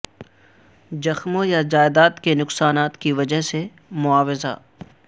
زخموں یا جائیداد کی نقصانات کی وجہ سے معاوضہ